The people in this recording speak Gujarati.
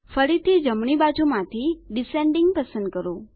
ફરીથી જમણી બાજુ માંથી ડિસેન્ડિંગ પસંદ કરો